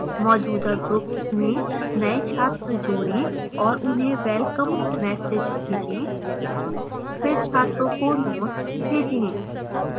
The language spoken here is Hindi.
मौजूदा ग्रुप्स में नए छात्र जोडें और उन्हें welcome message भेजें